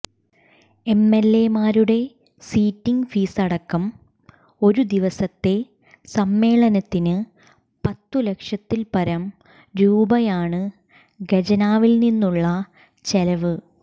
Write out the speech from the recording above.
എംഎൽഎമാരുടെ sitting ഫീസടക്കം ഒരു ദിവസത്തെ സമ്മേളനത്തിന് പത്തു ലക്ഷത്തിൽപ്പരം രൂപയാണു ഖജനാവിൽനിന്നുള്ള ചെലവ്